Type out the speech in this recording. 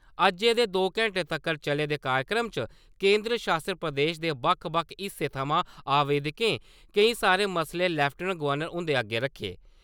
अज्जै दे दो घेंटें तक्कर चले दे कार्यक्रम च केंदर शासत प्रदेश दे बक्ख-बक्ख हिस्सें थमां आवेदकें केईं सारे मसले लेफ्टिनेंट गवर्नर हुंदे अग्गे रक्खे।